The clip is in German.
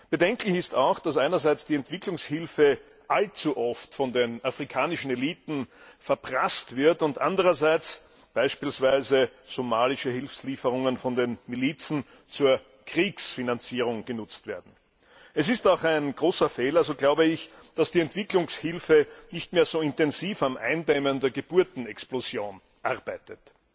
Bedenklich ist auch, dass einerseits die Entwicklungshilfe allzu oft von den afrikanischen Eliten verprasst wird und andererseits beispielsweise somalische Hilfslieferungen von den Milizen zur Kriegsfinanzierung genutzt werden. Es ist auch ein großer Fehler, dass die Entwicklungshilfe nicht mehr so intensiv am Eindämmen der Geburtenexplosion arbeitet.